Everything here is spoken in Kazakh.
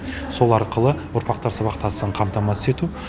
сол арқылы ұрпақтар сабақтастығын қамтамасыз ету